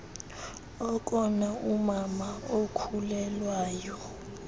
okona umama okhulelwayo